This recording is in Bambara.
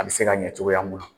A bɛ se ka ɲɛ cogoya mun na